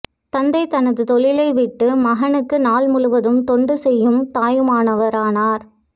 தந்தை தனது தொழிலைவிட்டுவிட்டு மகனுக்கு நாள் முழுவதும் தொண்டு செய்யும் தாயுமானவரானார்